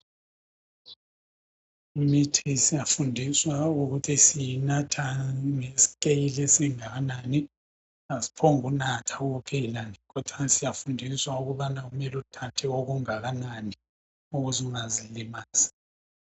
Imithi siyafundiswa ukuthi siyinatha ngesikeyili esingakanani. Asiphongunatha kuphela kodwana siyafundiswa ukubana kumele uthathe okungakanani ukuze ungazilimazi